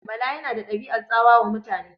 Bala yana da ɗabi'an tsawa wa mutane.